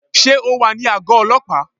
Sé o wà ní àgó ọlọ́pàá?